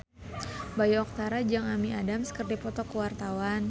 Bayu Octara jeung Amy Adams keur dipoto ku wartawan